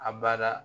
A bada